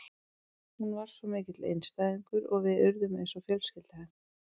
Hún var svo mikill einstæðingur og við urðum eins og fjölskylda hennar.